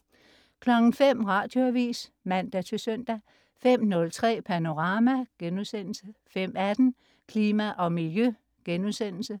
05.00 Radioavis (man-søn) 05.03 Panorama* 05.18 Klima og Miljø*